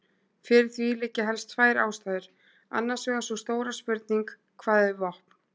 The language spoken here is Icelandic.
Fyrir því liggja helst tvær ástæður, annars vegar sú stóra spurning: hvað er vopn?